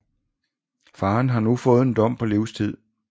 Faren har nu fået en dom på livstid